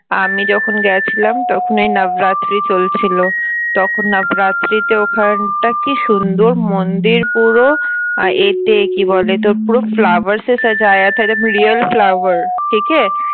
আমি যখন গেছিলাম তখন ওই নবরাত্রি চলছিল তখন নবরাত্রিতে ওখানটা কি সুন্দর মন্দির পুরো আহ এতে কি বলে তোর পুরো flowers real flower